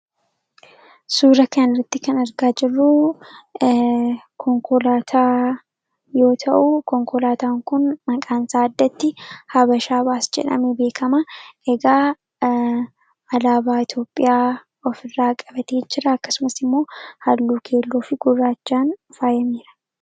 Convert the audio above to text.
Suura kana irratti kan argaa jirru konkolaataa yoo ta'u konkolaataan kun maqaansaa addatti habashaa Baas jedhame beekama. Egaa alaabaa Itoophiyaa of irraa qabatee jira. Akkasumas immoo halluu keelloo fi gurraachaan faayameera.